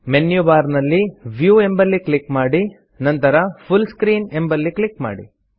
menu bar ನಲ್ಲಿ view ಎಂಬಲ್ಲಿ click ಮಾಡಿ ನಂತರ ಫುಲ್ ಸ್ಕ್ರೀನ್ ಎಂಬಲ್ಲಿ ಕ್ಲಿಕ್ ಮಾಡಿ